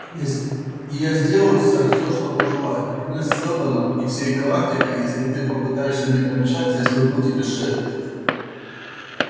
и я сделаю сэр все что пожелаю и клянусь сэлдоном и всей галактикой если ты попытаешься мне помешать я сверну тебе шею